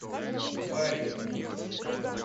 барри